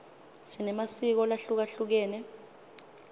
sinemasiko lahlukehlukene